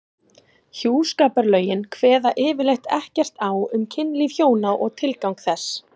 Hjúskaparlögin kveða yfirleitt ekkert á um kynlíf hjóna og tilgang þess.